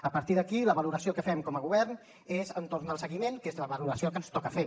a partir d’aquí la valoració que fem com a govern és entorn del seguiment que és la valoració que ens toca fer